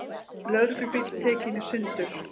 Lögreglubíll tekinn í sundur